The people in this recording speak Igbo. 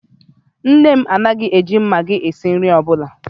Nne m anaghị e ji Magi esi nri ọbụla